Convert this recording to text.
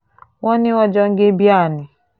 wọ́n ní wọ́n jọ ń gé bíà ni